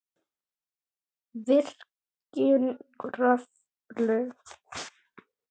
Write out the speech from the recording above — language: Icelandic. Virkjun Kröflu